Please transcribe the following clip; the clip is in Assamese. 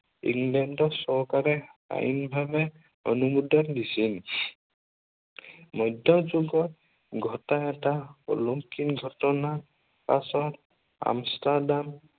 ইংলেণ্ড চৰকাৰে আইনভাৱে অনুমোদন দিছিল। মধ্য় যুগত ঘটা এটা অলংকিন ঘটনা পাছত আনষ্ট্ৰডাম